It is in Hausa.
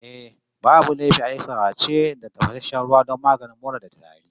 Eh, babu laifi a yi sarace da tafasasshen ruwa don maganin mura da tari